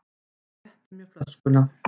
Hann rétti mér flöskuna.